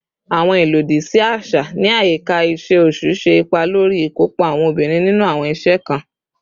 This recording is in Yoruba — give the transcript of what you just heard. Awọn ilodisi aṣa ni ayika iṣe oṣu ṣe ipa lori ikopa awọn obinrin ninu awọn iṣẹ kan